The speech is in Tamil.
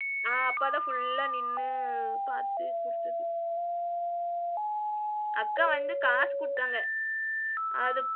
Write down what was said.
அ அப்பாதான் full ஆ நின்னு பாத்து குடுத்தது. அக்கா வந்து காசு குடுத்தாங்க அது,